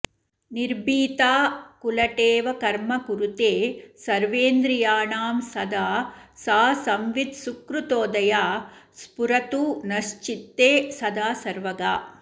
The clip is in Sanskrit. निर्भीता कुलटेव कर्म कुरुते सर्वेन्द्रियाणां सदा सा संवित् सुकृतोदया स्फुरतु नश्चित्ते सदा सर्वगा